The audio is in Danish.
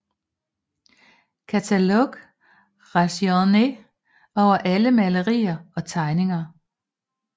Catalogue raisonné over alle malerier og tegninger